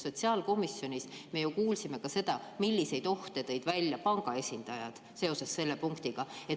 Sest sotsiaalkomisjonis me kuulsime ju ka seda, milliseid ohte tõid välja panga esindajad seoses selle punktiga.